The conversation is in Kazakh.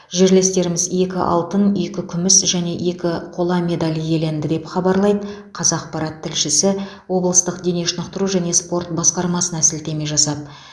жерлестеріміз екі алтын екі күміс және екі қола медаль иеленді деп хабарлайды қазақпарат тілшісі облыстық дене шынықтыру және спорт басқармасына сілтеме жасап